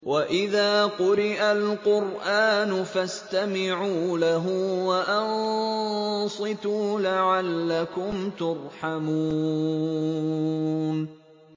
وَإِذَا قُرِئَ الْقُرْآنُ فَاسْتَمِعُوا لَهُ وَأَنصِتُوا لَعَلَّكُمْ تُرْحَمُونَ